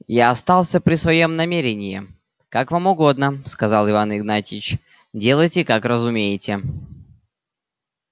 я остался при своём намерении как вам угодно сказал иван игнатьич делайте как разумеете